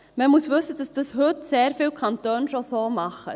Man muss wissen, dass dies heute sehr viele Kantone schon so tun.